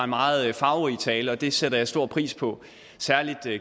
meget farverig tale det sætter jeg stor pris på